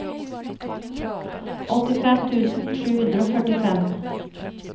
åttifem tusen sju hundre og førtifem